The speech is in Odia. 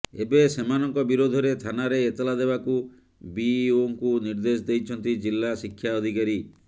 ଏବେ ସେମାନଙ୍କ ବିରୋଧରେ ଥାନାରେ ଏତଲା ଦେବାକୁ ବିଇଓଙ୍କୁ ନିର୍ଦ୍ଦେଶ ଦେଇଛନ୍ତି ଜିଲ୍ଲା ଶିକ୍ଷା ଅଧିକାରୀ